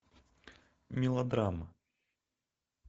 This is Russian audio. мелодрама